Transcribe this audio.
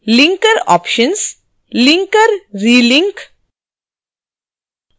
linkeroptions linkerrelink